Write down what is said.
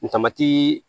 N tamati